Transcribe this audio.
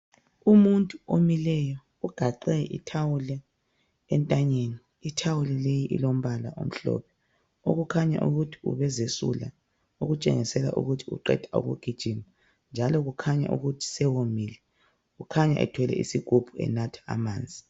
Umuntu omileyo ugaxe ithawulo entanyeni, ithawulo leyi ilombala omhlophe okukhanya ukuthi ubezesula okutshengisela ukuthi uqeda ukugijima njalo kukhanya ukuthi sewomile. Kukhanya ethwele isigubhu enatha amanzi.